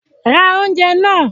Ra oúnjẹ náà!